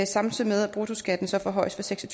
samtidig med at bruttoskatten så forhøjes fra seks og